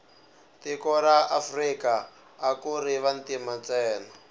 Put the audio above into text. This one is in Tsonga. tiko ra afrika akuri vantima ntsena